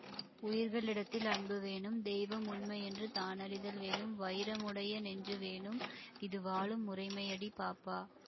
உயிர் களிடத்தில் அன்பு வேணும் தெய்வம் உண்மையென்று தானறிதல் வேணும் வயிர முடைய நெஞ்சு வேணும் இது வாழும் முறைமையடி பாப்பா